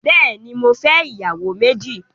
Bẹẹni, mò fẹ̀ iyàwó mẹji